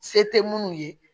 Se tɛ minnu ye